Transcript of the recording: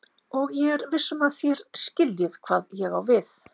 Og ég er viss um að þér skiljið hvað ég á við.